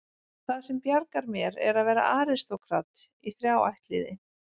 Það sem bjargar mér er að vera aristókrat í þrjá ættliði.